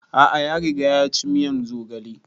A'a ya riga ya ci miyan zogale